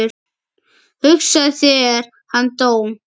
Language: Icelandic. Hugsaðu þér, hann dó.